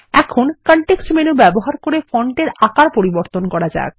এখন context menu ব্যবহার করে ফন্টের আকার পরিবর্তন করা যাক